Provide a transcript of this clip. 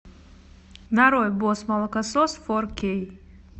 нарой босс молокосос фор кей